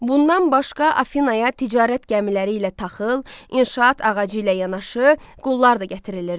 Bundan başqa Afinaya ticarət gəmiləri ilə taxıl, inşaat ağacı ilə yanaşı, qullar da gətirilirdi.